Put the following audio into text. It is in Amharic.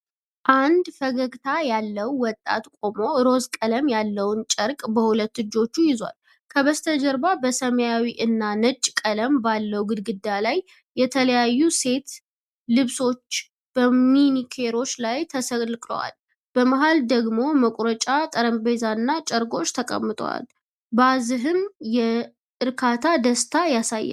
አንድ ፈገግታ ያለው ወጣት ቆሞ፣ ሮዝ ቀለም ያለውን ጨርቅ በሁለት እጆቹ ይዟል። ከበስተጀርባ በሰማያዊ እና ነጭ ቀለም ባለው ግድግዳ ላይ የተለያዩ ሴት ልብሶች በማኒኪኖች ላይ ተሰቅለዋል። በመሃል ደግሞ መቁረጫ ጠረጴዛና ጨርቆች ተቀምጠዋል። ባዝህም የእርካታ ደስታ ይታያል።